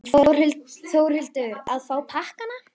Þórhildur: Að fá pakkana?